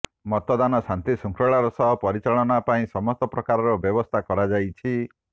ମତଦାନ ଶାନ୍ତି ଶୃଙ୍ଖଳାର ସହ ପରିଚାଳନା ପାଇଁ ସମସ୍ତ ପ୍ରକାରର ବ୍ୟବସ୍ଥା କରାଯାଇଛି